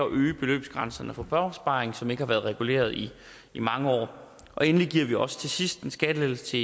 øge beløbsgrænserne for børneopsparing som ikke har været reguleret i i mange år endelig giver vi også til sidst en skattelettelse til